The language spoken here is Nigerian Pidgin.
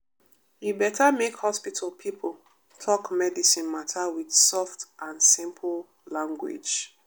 e beta make hospital pipo talk medicine mata wit soft and simple language.